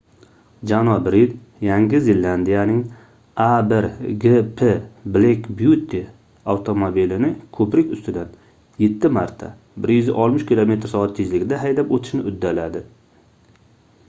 janob rid yangi zelandiyaning a1gp black beauty avtomobilini ko'prik ustidan yetti marta 160 km/soat tezlikda haydab o'tishni uddaladi